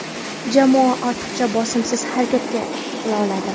Jamoa ortiqcha bosimsiz harakat qila oladi.